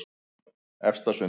Efstasundi